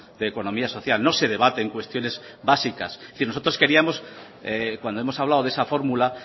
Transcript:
de economía social no se debaten cuestiones básicas es decir nosotros queríamos cuando hemos hablado de esa fórmula